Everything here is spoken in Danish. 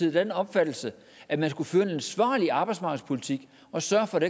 af den opfattelse at man skulle føre en ansvarlig arbejdsmarkedspolitik og sørge for at